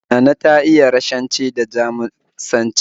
Nana ta iya Rashanci da Jamusanci